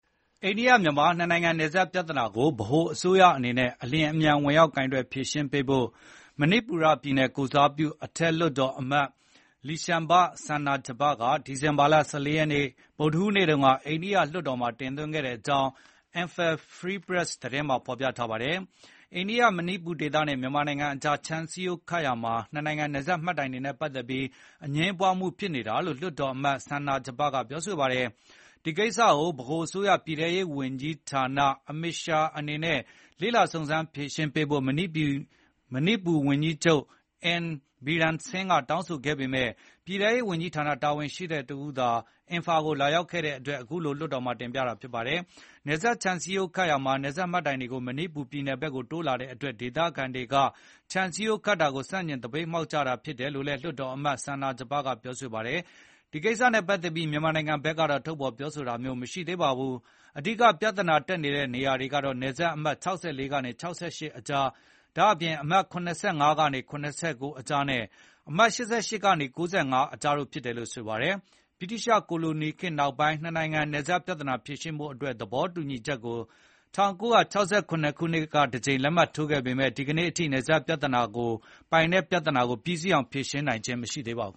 အိန္ဒိယမြန်မာ နှစ်နိုင်ငံနယ်စပ်ပြဿနာကို ဗဟိုအစိုးရအနေနဲ့ အလျင်အမြန်ဝင်ရောက်ကိုင်တွယ်ဖြေရှင်းပေးဖို့ မဏိပူရ ပြည်နယ်ကိုယ်စားပြု အထက်လွှတ်တော်အမတ် Leishemba Sanajaoba က ဒီဇင်ဘာလ ၁၄ ရက်နေ့ ဗုဒ္ဓဟူးနေ့က အိန္ဒိယလွှတ်တော်မှာတင်သွင်းခဲ့ကြောင်း Emphal Free Press သတင်းမှာဖေါ်ပြထားပါတယ်။ အိန္ဒိယ-မဏိပူဒေသနဲ့ မြန်မာနိုင်ငံအကြား ခြံစည်းရိုးခတ်ရာမှာ နှစ်နိုင်ငံနယ်စပ်မှတ်တိုင်တွေနဲ့ပတ်သက်ပြီး အငြင်းပွားမှုဖြစ်နေတာလို့ လွှတ်တော်အမတ် Sanajaoba ကပြောဆိုပါတယ်။ ဒီကိစ္စကို ဗဟိုအစိုးရ ပြည်ထဲရေးဝန်ကြီး Amit Shah အနေနဲ့ လေ့လာစုံစမ်းဖြေရှင်းပေးဖို့ မဏိပူပြည်နယ်ဝန်ကြီးချုပ် N Biren Singh ကတောင်းဆိုခဲ့ပေမဲ့ ပြည်ထဲရေးဝန်ကြီးဌာန တာဝန်ရှိသူတဦးသာ အင်ဖာကိုလာရောက်ခဲ့တဲ့အတွက် အခုလို လွှတ်တော်မှာထပ်မံတင်ပြတာဖြစ်ပါတယ်။ နယ်စပ်ခြံစည်းရိုးခတ်ရာမှာ နယ်စပ်မှတ်တိုင်တွေကို မဏိပူပြည်နယ်ဘက်ကိုတိုးလာတဲ့အတွက် ဒေသခံတွေက ခြံစည်းရိုးခတ်တာကို ဆန့်ကျင်သပိတ်မှောက်ကြတာဖြစ်တယ်လို့လည်း လွှတ်တော်အမတ် Sanajaoba ကပြောဆို ပါတယ်။ ဒီကိစ္စနဲ့ပတ်သက်ပြီးမြန်မာနိုင်ငံဘက်တော့ ထုတ်ဖေါ်ပြောဆိုတာမျိုးမရှိသေးပါဘူး။ အဓိက ပြဿနာတက်နေတဲ့နေရာတွေကတော့ နယ်စပ်အမှတ် ၆၄ ကနေ ၆၈ ကြား ဒါ့အပြင် အမှတ် ၇၅ ကနေ ၇၉ ကြားနဲ့ အမှတ် ၈၈ ကနေ ၉၅ ကြားတို့ဖြစ်တယ်လို့ဆိုပါတယ်။ ဗြိတိသျှ ကိုလိုနီခေတ်နောက်ပိုင်း နှစ်နိုင်ငံနယ်စပ် ပြဿနာဖြေရှင်းဖို့သဘောတူညီချက်ကို ၁၉၆၇ နှစ်က တကြိမ်လက်မှတ်ထိုးခဲ့ပေမဲ့ ဒီကနေ့အထိ နယ်စပ် ပိုင်နက်ပြဿနာကို ပြီးစီးအောင်ဖြေရှင်းနိုင်ခြင်းမရှိသေးပါဘူ